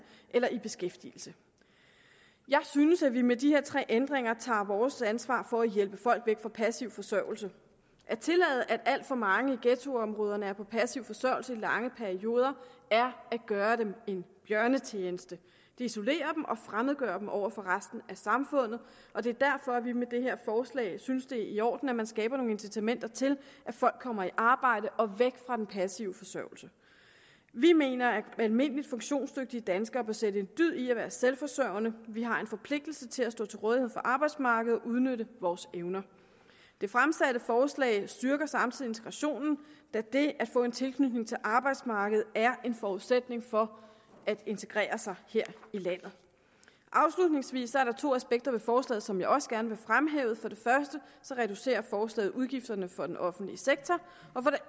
eller i beskæftigelse jeg synes at vi med de her tre ændringer tager vores ansvar for at hjælpe folk væk fra passiv forsørgelse at tillade at alt for mange i ghettoområderne er på passiv forsørgelse i lange perioder er at gøre dem en bjørnetjeneste det isolerer dem og fremmedgør dem over for resten af samfundet og det er derfor at vi med det her forslag synes det er i orden at man skaber nogle incitamenter til at folk kommer i arbejde og væk fra den passive forsørgelse vi mener at almindelige funktionsdygtige danskere bør sætte en dyd i at være selvforsørgende vi har en forpligtelse til at stå til rådighed for arbejdsmarkedet og udnytte vores evner det fremsatte forslag styrker samtidig integrationen da det at få en tilknytning til arbejdsmarkedet er en forudsætning for at integrere sig her i landet afslutningsvis der er to aspekter ved forslaget som jeg også gerne vil fremhæve for det første reducerer forslaget udgifterne for den offentlige sektor og for det